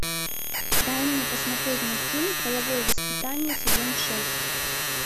дай мне посмотреть мультфильм половое воспитание сезон шесть